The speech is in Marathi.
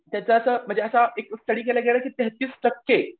त्याचा असा म्हणजे असा की एक स्टडी केला गेला की तेहतीस टक्के.